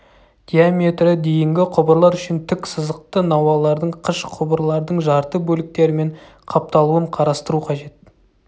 диаметрі дейінгі құбырлар үшін тік сызықты науалардың қыш құбырлардың жарты бөліктерімен қапталуын қарастыру қажет